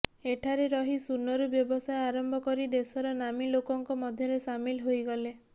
ଏଠାରେ ରହି ଶୂନରୁ ବ୍ୟବସାୟ ଆରମ୍ଭ କରି ଦେଶର ନାମୀ ଲୋକଙ୍କ ମଧ୍ୟରେ ସାମିଲ ହୋଇଗଲେ